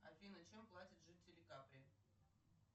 афина чем платят жители капри